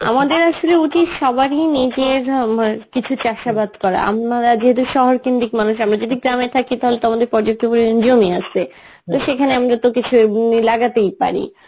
আমাদের আসলে উচিত সবারই নিজের উম কিছু চাষাবাদ করা আমরা যেহেতু শহর কেন্দ্রিক মানুষ আমরা যদি গ্রামে থাকি তাহলে তো আমাদের পর্যাপ্ত পরিমাণ জমি আছে তো সেখানে আমরা তো কিছু উম লাগাতেই পারি